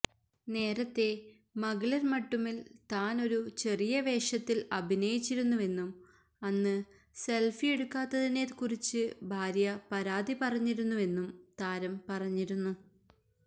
നേരത്തെ മഗളിര് മട്ടുമില് താന് ഒരു ചെറിയ വേഷത്തില് അഭിനയിച്ചിരുന്നുവെന്നും അന്ന് സെല്ഫിയെടുക്കാത്തിനെക്കുറിച്ച് ഭാര്യ പരാതി പറഞ്ഞിരുന്നുവെന്നും താരം പറഞ്ഞിരുന്നു